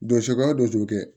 Donsokɛ o don kɛ